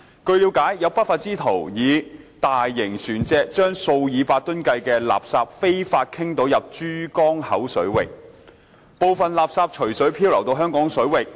據了解，有不法之徒以大型船隻將數以百噸的垃圾非法傾倒入珠江口水域，部分垃圾隨水漂流到香港水域。